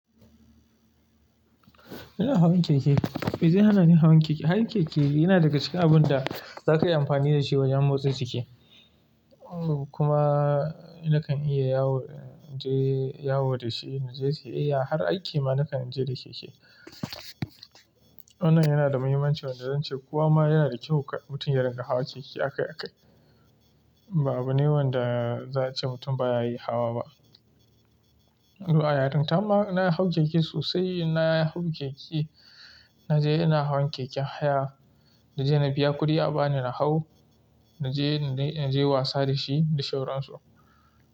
Ina hawan keke, mai ze hana ni hawan keke. Hawe keke yana daga cikin abun da za ka yi amfani da shi wajen motsa jiki kuma nakan iya yawo da shi, na je siyayya har aiki ma nakan je da keke. Wannan yana da mahimmanci wan da zan ce kowa ma yana da kyau mutum yarin ƙa hawa keke akai akai. Ba abune wanda za a ce mutum ba ya yi hawa ba. To a yarin ta ma na hau keke sosai, na hau keke na je ina hawan keken haya da je na biya kuɗi a bani na hau na je na je wasa da shi da shauransu.